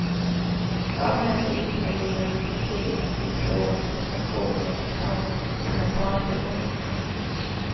Kraven är så införlivade i kulturen att vi tror att frustatrationer och trauman tillhör barndomen.